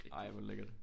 Ej hvor lækkert